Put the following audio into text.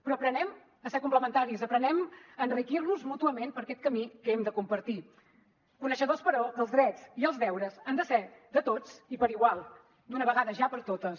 però aprenguem a ser complementaris aprenguem a enriquir nos mútuament per aquest camí que hem de compartir coneixedors però que els drets i els deures han de ser de tots i per igual d’una vegada ja per totes